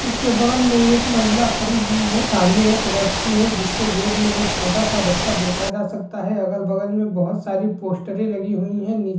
उसके बगल में एक महिला खड़ी हुई है सामने एक व्यक्ति है जिस की गोद में एक छोटा सा बच्चा देखा जा सकता है अगल बगल में बहोत सारी पोस्टरे लगी हुई है।